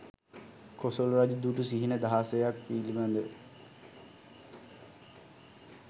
කොසොල් රජු දුටු සිහින දහසයක් පිළිබඳ.